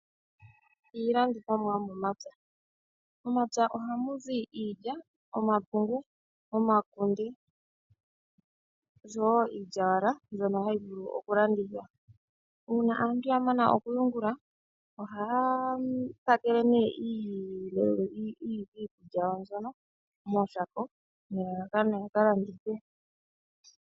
Iilandithomwa yomomapya. Momapya ohamu zi iilya, omapungu, omakunde oshowo iilyawala ndyono hayi vulu oku landathwa. Una aantu ya mana okunyungula ohaa pakele nee iikulya yawo mbyono mooshako nelalakano yaka landithe.